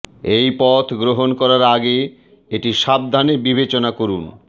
এই পথ গ্রহণ করার আগে এটি সাবধানে বিবেচনা করুন